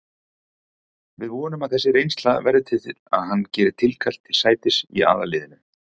Við vonum að þessi reynsla verði til að hann geri tilkall til sætis í aðalliðinu.